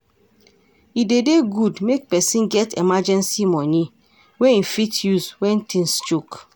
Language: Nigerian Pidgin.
E de dey good make person get emergency money wey im fit use when things choke